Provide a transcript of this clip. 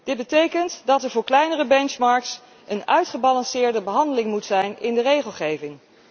Dit betekent dat er voor kleinere benchmarks een uitgebalanceerde behandeling moet zijn in de regelgeving.